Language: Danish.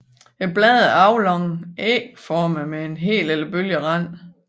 Bladene er aflangt ægformede med hel eller bølget rand